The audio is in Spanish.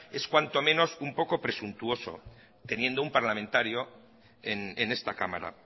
es cuanto menos un poco presuntuoso teniendo un parlamentario en esta cámara